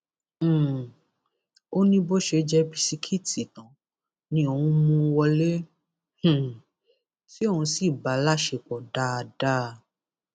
um ó ní bó ṣe jẹ bisikíìtì tán ni òun mú un wọlé um tí òun sì bá a láṣepọ dáadáa